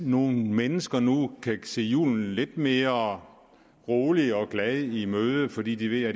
nogle mennesker nu kan se julen lidt mere roligt og glad i møde fordi de ved at